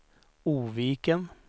Oviken